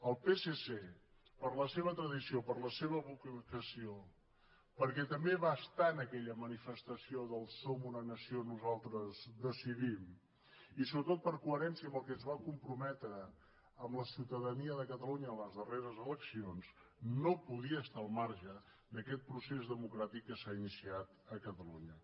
el psc per la seva tradició per la seva vocació perquè també va estar en aquella manifestació del som una nació nosaltres decidim i sobretot per coherència amb el que es va comprometre amb la ciutadania de catalunya a les darreres eleccions no podia estar al marge d’aquest procés democràtic que s’ha iniciat a catalunya